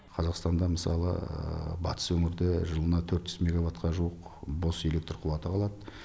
қазақстанда мысалы батыс өңірде жылына төрт жүз мегаватқа жуық бос электр қуаты қалады